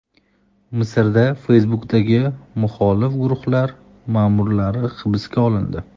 Misrda Facebook’dagi muxolif guruhlar ma’murlari hibsga olindi.